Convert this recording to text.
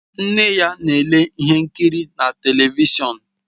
Nne ya na-ele ihe nkiri na telivishọn